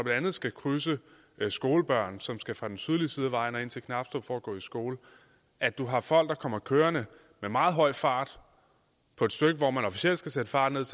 andet skal krydses af skolebørn som skal fra den sydlige side af vejen og ind til knabstrup for at gå i skole og at du har folk der kommer kørende med meget høj fart på et stykke hvor man officielt skal sætte farten